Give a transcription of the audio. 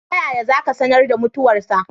Ta yaya za ku sanar da mutuwarsa?